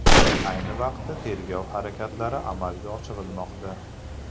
Ayni vaqtda tergov harakatlari amalga oshirilmoqda.